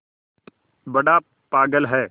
बड़ा पागल है